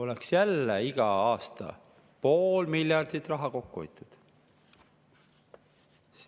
Saaks jälle iga aasta pool miljardit kokku hoida.